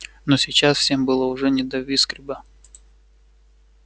но сейчас всем было уже не до виксберга